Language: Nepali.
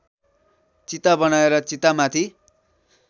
चिता बनाएर चितामाथि